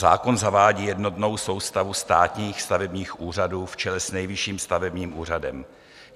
Zákon zavádí jednotnou soustavu státních stavebních úřadů v čele s Nejvyšším stavebním úřadem.